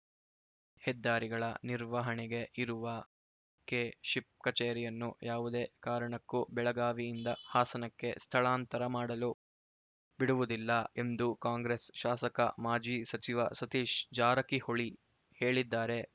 ಹೆದ್ದಾರಿಗಳ ನಿರ್ವಹಣೆಗೆ ಇರುವ ಕೆಶಿಪ್‌ ಕಚೇರಿಯನ್ನು ಯಾವುದೇ ಕಾರಣಕ್ಕೂ ಬೆಳಗಾವಿಯಿಂದ ಹಾಸನಕ್ಕೆ ಸ್ಥಳಾಂತರ ಮಾಡಲು ಬಿಡುವುದಿಲ್ಲ ಎಂದು ಕಾಂಗ್ರೆಸ್‌ ಶಾಸಕ ಮಾಜಿ ಸಚಿವ ಸತೀಶ್‌ ಜಾರಕಿಹೊಳಿ ಹೇಳಿದ್ದಾರೆ